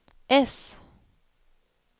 S